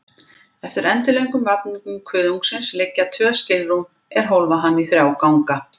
Eftir endilöngum vafningum kuðungsins liggja tvö skilrúm, er hólfa hann í þrjá ganga.